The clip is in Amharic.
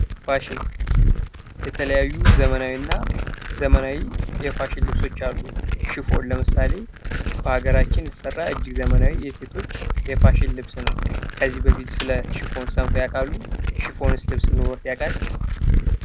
ፋሽን የተለያዩ ዘመናዊና ዘመናዊ የፋሽን ልብሶች አሉ። ሽፎን ለምሳሌ ሀገራችን የተሰራ እጅግ ዘመናዊ የሴቶች የፋሽን ልብስ ነው። ከዚህ በፊት ስለሽፎን ሰምተው ያውቃሉ? ሽፎን ልብስ ኖሮት ያቃል?